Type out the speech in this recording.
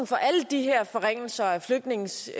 for alle de her forringelser af flygtninges